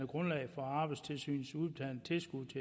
grundlag for arbejdstilsynets udbetaling